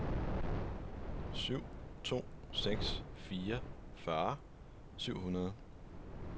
syv to seks fire fyrre syv hundrede